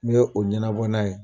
N b'o ɲɛnabɔ n'a ye